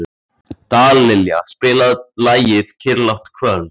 Dallilja, spilaðu lagið „Kyrrlátt kvöld“.